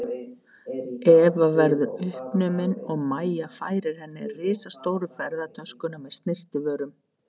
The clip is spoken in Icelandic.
Eva verðu uppnumin og Mæja færir henni risastóru ferðatöskuna með snyrtivörunum.